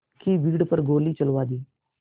की भीड़ पर गोली चलवा दी